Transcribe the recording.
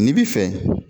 N'i bi fɛ